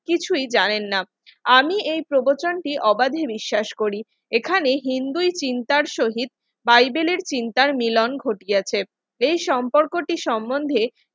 কিছুই জানেন না আমি এই প্রবচনটি অবাধে বিশ্বাস করি এখানে হিন্দুই চিন্তার সহিত বাইবেলের চিন্তার মিলন ঘটিয়েছে এই সম্পর্কটি সম্বন্ধে